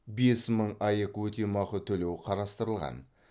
бес мың аек өтемақы төлеу қарастырылған